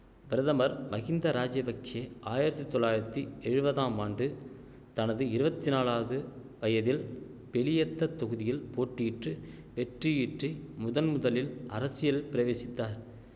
பிரதமர் மஹிந்த ராஜபக்ஷே ஆயிரத்தி தொளயிரத்தி எழுவதாம் ஆண்டு தனது இருவத்தி நாலாவது வயதில் பெலியெத்தத் தொகுதியில் போட்டியிற்று வெற்றியீற்றி முதன்முதலில் அரசியல் பிரவேசித்தார்